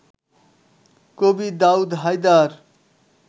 কবি দাউদ হায়দার